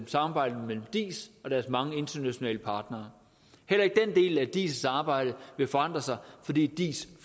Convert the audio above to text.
samarbejdet mellem diis og deres mange internationale partnere heller ikke den del af diis arbejde vil forandre sig fordi diis